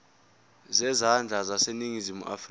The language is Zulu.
zezandla zaseningizimu afrika